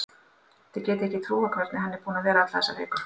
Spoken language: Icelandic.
Þið getið ekki trúað hvernig hann er búinn að vera alla þessa viku.